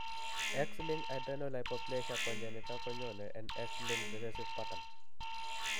X linked adrenal hypoplasia congenita konyone en x linked recessive pattern